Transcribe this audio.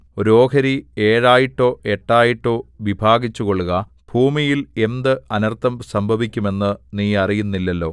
ഒരു ഓഹരി ഏഴായിട്ടോ എട്ടായിട്ടോ വിഭാഗിച്ചുകൊള്ളുക ഭൂമിയിൽ എന്ത് അനർത്ഥം സംഭവിക്കും എന്നു നീ അറിയുന്നില്ലല്ലോ